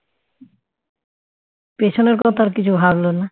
পেছনের কথা আর কিছু ভাবল না